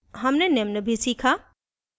हमने निम्न भी सीखा